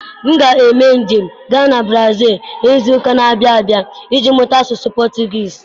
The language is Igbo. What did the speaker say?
M ga-eme njem gaa na Brazil n'izu ụka na-abịa abịa ije mụta asụsụ Potugiiz.